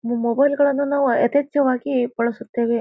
ನಿಮ್ ಮೊಬೈಲ್ ಗಳನ್ನು ನಾವ್ ಅತಿಹೆಚ್ಚಾವಾಗಿ ಬಳಸುತ್ತೇವೆ.